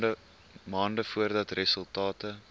maande voordat resultate